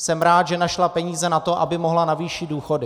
Jsem rád, že našla peníze na to, aby mohla navýšit důchody.